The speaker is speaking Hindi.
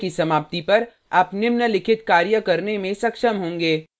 इस स्पोकन ट्यूटोरियल की समाप्ति पर आप निम्नलिखित कार्य करने में सक्षम होंगे